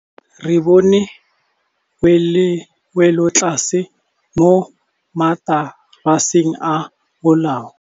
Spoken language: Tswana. Re bone wêlôtlasê mo mataraseng a bolaô.